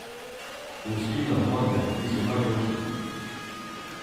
Luskinar, mater, ti so najboljši!